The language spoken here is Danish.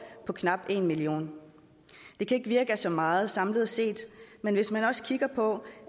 på knap en million det kan ikke virke af så meget samlet set men hvis man også kigger på